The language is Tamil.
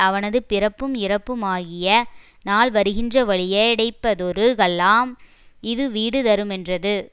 அவனது பிறப்பும் இறப்புமாகிய நாள் வருகின்ற வழியை யடைப்பதொரு கல்லாம் இது வீடு தருமென்றது